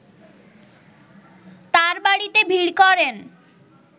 তাঁর বাড়িতে ভিড় করেন